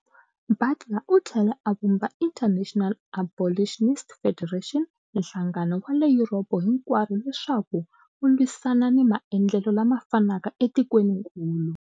Butler u tlhele a vumba International Abolitionist Federation, nhlangano wa le Yuropa hinkwaro leswaku wu lwisana ni maendlelo lama fanaka etikweninkulu.